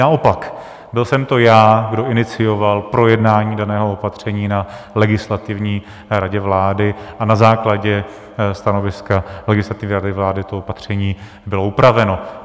Naopak, byl jsem to já, kdo inicioval projednání daného opatření na Legislativní radě vlády, a na základě stanoviska Legislativní rady vlády to opatření bylo upraveno.